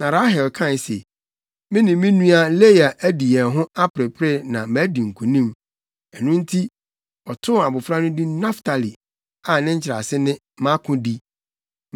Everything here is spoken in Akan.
Na Rahel kae se, “Me ne me nua Lea adi yɛn ho aperepere na madi nkonim.” Ɛno nti, ɔtoo abofra no din Naftali a ne nkyerɛase ne, “Mʼakodi.”